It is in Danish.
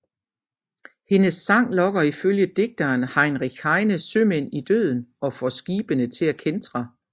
Hendes sang lokker ifølge digteren Heinrich Heine sømænd i døden og får skibene til at kæntre